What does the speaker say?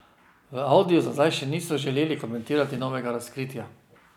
V Audiju za zdaj še niso želeli komentirati novega razkritja.